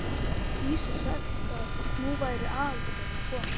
Dísu sagt að nú væri Aðalsteinn að koma.